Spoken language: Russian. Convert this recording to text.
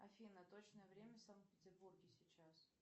афина точное время в санкт петербурге сейчас